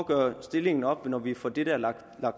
gøre stillingen op når vi får det lagt